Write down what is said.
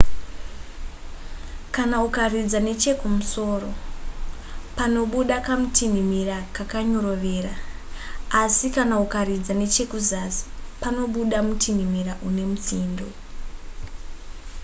kana ukaridza nechekumusoro panobuda kamutinhimira kakanyorovera asi kana ukaridza nechekuzasi panobuda mutinhimira une mutsindo